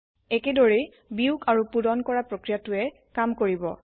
একেদৰেই বিয়োগ আৰু পুৰন কৰা প্ৰক্ৰিয়াটোৱে কাম কৰিব